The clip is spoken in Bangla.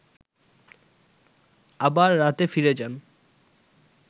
আবার রাতে ফিরে যান